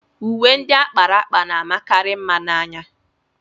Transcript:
Uwe ndị a kpara akpa na-amakarị mma n'anya.